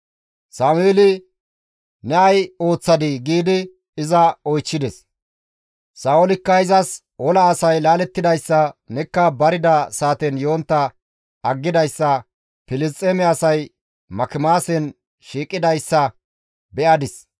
Sameeli, «Ne ay ooththadii?» giidi iza oychchides; Sa7oolikka izas, «Ola asay laalettidayssa, nekka barida saaten yontta aggidayssa, Filisxeeme asay Makimaasen shiiqidayssa be7adis;